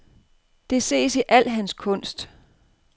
Det ses i al hans kunst.